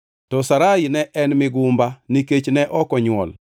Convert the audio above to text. To Sarai ne en migumba; nikech ne ok onywol.